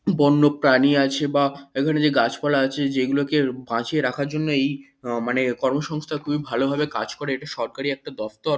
বন্যপ্রাণী আছে বা এখানে যে গাছপালা আছে যেগুলোকে বাঁচিয়ে রাখার জন্যই মানে এই কর্মসংস্থা খুব ভালোভাবে কাজ করে এটা সরকারি একটা দপ্তর।